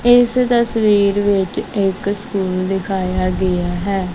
ਇੱਸ ਤਸਵੀਰ ਵਿੱਚ ਇੱਕ ਸਕੂਲ ਦਿਖਾਇਆ ਗਿਆ ਹੈ।